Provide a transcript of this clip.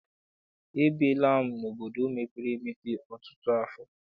Ebiela m obodo mepere emepe ọtụtụ afọ.